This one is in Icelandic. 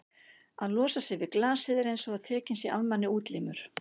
að losa sig við glasið er einsog að tekinn sé af manni útlimur.